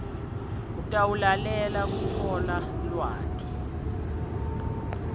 utawulalela kutfola lwati